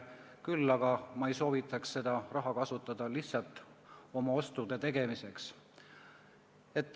Küll aga ei soovita ma seda raha kasutada lihtsalt oma ostude tegemiseks.